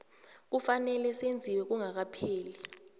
kufanele senziwe kungakapheli